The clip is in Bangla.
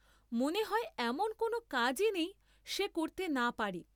মনে হয় এমন কোন কাজই নেই সে করতে না পারে।